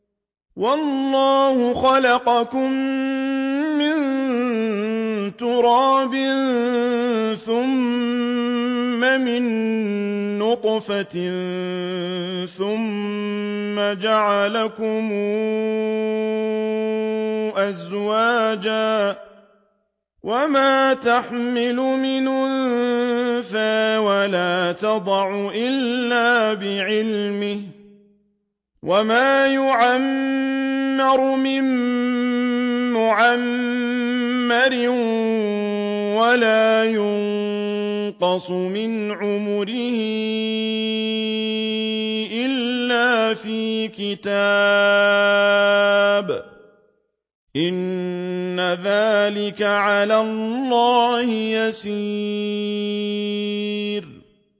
وَاللَّهُ خَلَقَكُم مِّن تُرَابٍ ثُمَّ مِن نُّطْفَةٍ ثُمَّ جَعَلَكُمْ أَزْوَاجًا ۚ وَمَا تَحْمِلُ مِنْ أُنثَىٰ وَلَا تَضَعُ إِلَّا بِعِلْمِهِ ۚ وَمَا يُعَمَّرُ مِن مُّعَمَّرٍ وَلَا يُنقَصُ مِنْ عُمُرِهِ إِلَّا فِي كِتَابٍ ۚ إِنَّ ذَٰلِكَ عَلَى اللَّهِ يَسِيرٌ